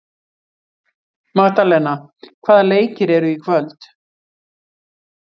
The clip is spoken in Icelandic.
Magdalena, hvaða leikir eru í kvöld?